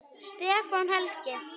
Stefán Helgi.